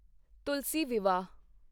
ਤੁਲਸੀ ਵਿਵਾਹ